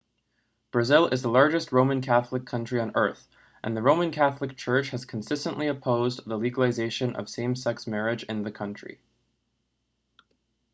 brazil is the largest roman catholic country on earth and the roman catholic church has consistently opposed the legalization of same-sex marriage in the country